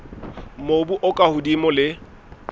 mobu o ka hodimo le